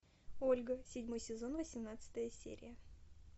ольга седьмой сезон восемнадцатая серия